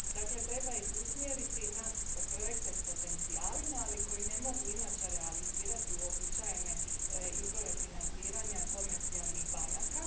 Dakle, treba ih usmjeriti na projekte s potencijalima, ali koji ne mogu inače realizirati uobičajene izvore financiranja komercijalnih banaka.